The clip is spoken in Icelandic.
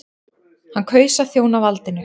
Hann kaus að þjóna valdinu.